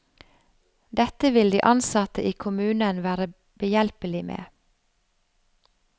Dette vil de ansatte i kommunen være behjelpelige med.